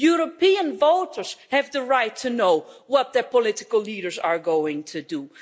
European voters have the right to know what their political leaders are going to do.